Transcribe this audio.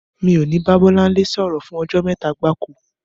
Mi ò ní bá Bọ́láńlé sọ̀rọ̀ fún ọjọ́ mẹ́ta gbáko.